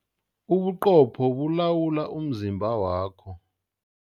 Ubuqopho bulawula umzimba wakho.